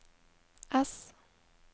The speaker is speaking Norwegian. ess